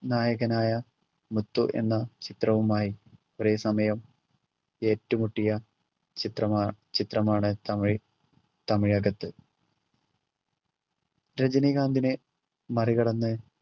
നായകനായ മുത്തു എന്ന ചിത്രവുമായി ഒരേ സമയം ഏറ്റുമുട്ടിയ ചിത്രമാ ചിത്രമാണ് തമിഴ് തമിഴകത്ത് രജനീകാന്തിനെ മറികടന്ന്